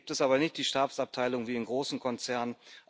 Hier gibt es aber nicht die Stabsabteilung wie in großen Konzernen